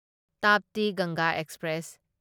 ꯇꯥꯞꯇꯤ ꯒꯪꯒꯥ ꯑꯦꯛꯁꯄ꯭ꯔꯦꯁ